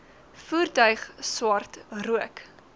voertuig swart rook